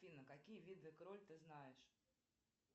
афина какие виды кроль ты знаешь